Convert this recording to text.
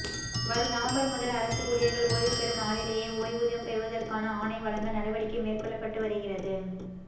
வரும் நவம்பர் முதல் அரசு ஊழியர்கள் ஓய்வுபெறும் நாளிலேயே ஓய்வூதியம் பெறுவதற்கான ஆணை வழங்க நடவடிக்கை மேற்கொள்ளப்பட்டு வருகிறது